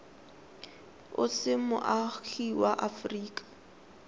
o se moagi wa aforika